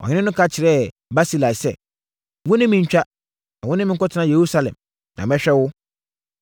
Ɔhene no ka kyerɛɛ Barsilai sɛ, “Wo ne me ntwa, na wo ne me nkɔtena Yerusalem, na mɛhwɛ wo.”